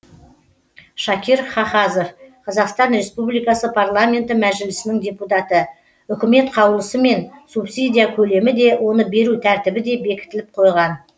шакир хахазов қазақстан рреспубликасы парламенті мәжілісінің депутаты үкімет қаулысымен субсидия көлемі де оны беру тәртібі де бекітіліп қойған